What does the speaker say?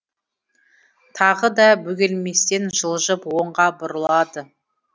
тағы да бөгелместен жылжып оңға бұрылады